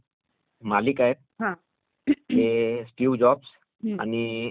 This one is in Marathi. ते स्टीव्ह जॉबस् आणि मायक्रॉसॉफ्टचे बील गेटस्